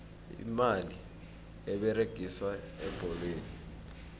imali eberegiswa ebholweni